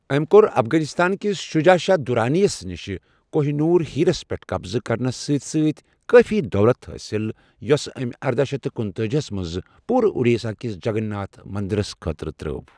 أمۍ کوٚر افغٲنستان کِس شجاع شاہ درانی یس نش کوہہ نور ہیرس پٮ۪ٹھ قبضہٕ کرنس سۭتۍ سۭتۍ کٲفی دولت حٲصل یۅس أمۍ ارداہ شیتھ کنتٲجییس منٛز پورٕاُڈیساہ کِس جگن ناتھ مندرس خٲطرٕ ترٛٲو۔